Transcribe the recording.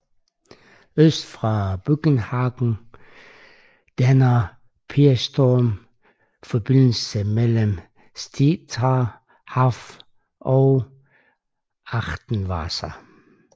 Øst for Buggenhagen danner Peenestrom forbindelsen mellem Stettiner Haff og Achterwasser